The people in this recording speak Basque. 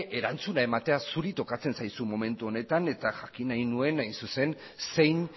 erantzuna ematea zuri tokatzen zaizu momentu honetan eta jakin nahi nuen zein